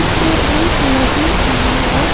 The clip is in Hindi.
ये एक नदी का है।